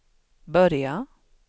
börja